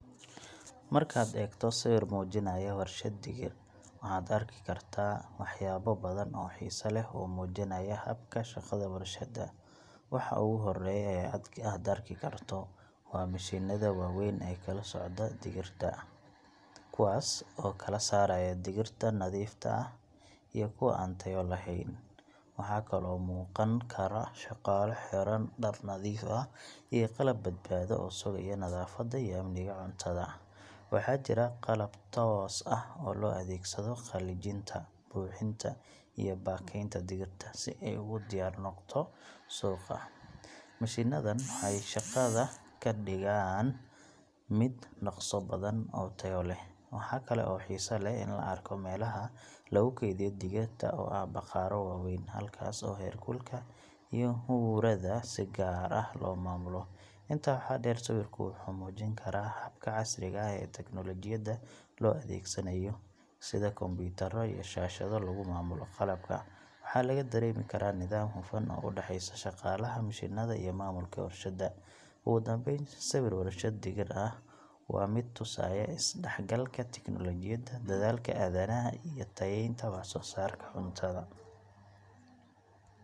Markaad eegto sawir muujinaya warshad digir, waxaad arki kartaa waxyaabo badan oo xiiso leh oo muujinaya habka shaqada warshadda. Waxa ugu horreeya ee aad arki karto waa mishiinnada waaweyn ee kala sooca digirta — kuwaas oo kala saaraya digirta nadiifta ah iyo kuwa aan tayo lahayn. Waxaa kaloo muuqan kara shaqaale xidhan dhar nadiif ah iyo qalab badbaado oo sugaya nadaafadda iyo amniga cuntada. Waxaa jira qalab toos ah oo loo adeegsado qalajinta, buuxinta, iyo baakaynta digirta si ay ugu diyaar noqoto suuqa. Mishiinadan waxay shaqada ka dhigaan mid dhaqso badan oo tayo leh. Waxaa kale oo xiiso leh in la arko meelaha lagu kaydiyo digirta oo ah bakhaarro waaweyn, halkaas oo heerkulka iyo huurada si gaar ah loo maamulo. Intaa waxaa dheer, sawirku wuxuu muujin karaa habka casriga ah ee teknolojiyadda loo adeegsanayo sida kombuyuutarro iyo shaashado lagu maamulo qalabka. Waxaa laga dareemi karaa nidaam hufan oo u dhexeeya shaqaalaha, mishiinnada iyo maamulka warshadda. Ugu dambayn, sawir warshad digir ah waa mid tusaya is-dhexgalka tiknoolajiyadda, dadaalka aadanaha, iyo tayeynta wax-soo-saarka cuntada.